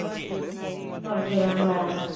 সব গেলাম হ্যাঁ হ্যাঁ